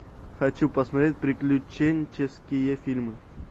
хочу посмотреть приключенческие фильмы